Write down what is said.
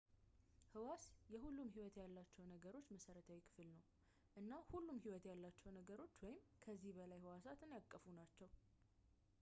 ሕዋስ የሁሉም ሕይወት ያላቸው ነገሮች መሠረታዊ ክፍል ነው እና ሁሉም ሕይወት ያላቸው ነገሮች አንድ ወይም ከዚያ በላይ ሕዋሳትን ያቀፉ ናቸው